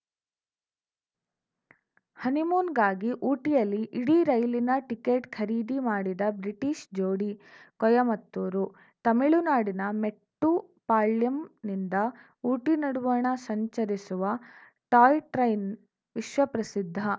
ಹನಿಮೂನ್‌ಗಾಗಿ ಊಟಿಯಲ್ಲಿ ಇಡೀ ರೈಲಿನ ಟಿಕೆಟ್‌ ಖರೀದಿ ಮಾಡಿದ ಬ್ರಿಟೀಷ್‌ ಜೋಡಿ ಕೊಯಮತ್ತೂರು ತಮಿಳುನಾಡಿನ ಮೆಟ್ಟುಪಾಳ್ಯಂನಿಂದ ಊಟಿ ನಡುವಣ ಸಂಚರಿಸುವ ಟಾಯ್‌ ಟ್ರೈನ್‌ ವಿಶ್ವಪ್ರಸಿದ್ಧ